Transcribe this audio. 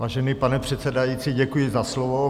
Vážený pane předsedající, děkuji za slovo.